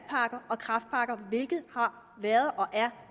og kræftpakker hvilket har været og